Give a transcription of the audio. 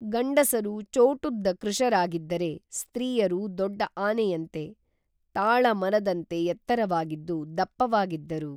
ಗಂಡಸರು ಚೋಟುದ್ದ ಕೃಶರಾಗಿದ್ದರೆ ಸ್ತ್ರೀಯರು ದೊಡ್ಡ ಆನೆಯಂತೆ, ತಾಳ ಮರದಂತೆ ಎತ್ತರವಾಗಿದ್ದು, ದಪ್ಪವಾಗಿದ್ದರು